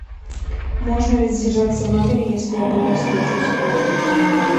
можно ли задержаться в номере если я плохо себя чувствую